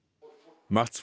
mats